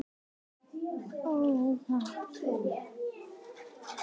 Börn þeirra urðu alls sjö.